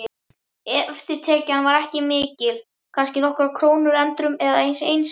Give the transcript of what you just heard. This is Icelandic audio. Eftirtekjan var ekki mikil, kannski nokkrar krónur endrum og eins.